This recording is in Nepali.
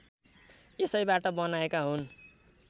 यसैबाट बनाएका हुन्